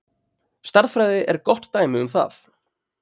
Stærðfræði er gott dæmi um það.